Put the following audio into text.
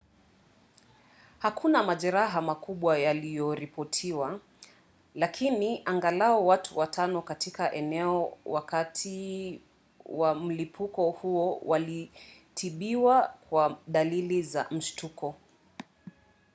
hakuna majeraha makubwa yaliyoripotiwa lakini angalau watu watano katika eneo wakati wa mlipuko huo walitibiwa kwa dalili za mshtuko